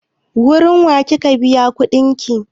Wurin wa ye kika biya kuɗin ki?